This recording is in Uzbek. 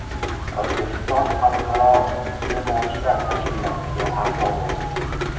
O‘zbekiston Xalqaro iste’molchilar tashkilotiga a’zo bo‘ldi.